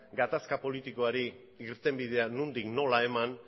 gatazka politikoari irtenbidea nondik nola eman